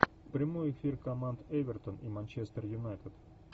прямой эфир команд эвертон и манчестер юнайтед